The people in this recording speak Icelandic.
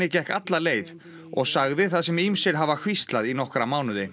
gekk alla leið og sagði það sem ýmsir hafa hvíslað í nokkra mánuði